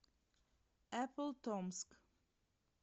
эпплтомск